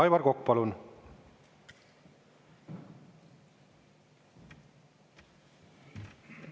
Aivar Kokk, palun!